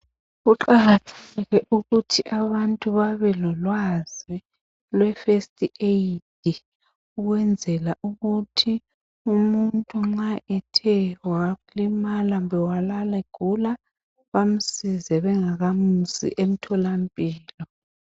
Kuqakathekile ukuthi abantu babe lolwazi lwe fest eyidi, ukwenzela ukuthi umuntu nxa ethe walimala kumbe walala egula bamsize bengakamusi emtholampilo.